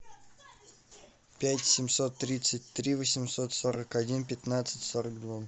пять семьсот тридцать три восемьсот сорок один пятнадцать сорок два